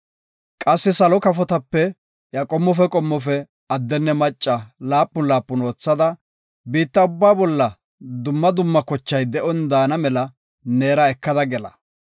Qassi salo kafotape iya qommofe qommofe addenne macca laapun laapun oothada, biitta ubbaa bolla dumma dumma kochay de7on daana mela neera ekada gela.